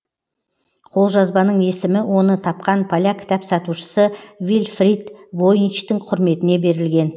қолжазбаның есімі оны тапқан поляк кітап сатушысы вильфрид войничтің құрметіне берілген